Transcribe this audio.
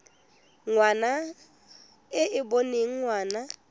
ngwana e e boneng ngwana